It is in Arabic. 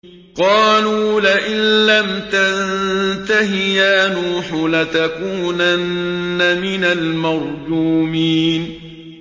قَالُوا لَئِن لَّمْ تَنتَهِ يَا نُوحُ لَتَكُونَنَّ مِنَ الْمَرْجُومِينَ